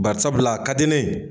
Barisabula a ka di ne ye